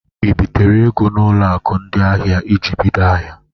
I bitere ego n'ụlọ akụ ndị ahịa iji bido ahịa?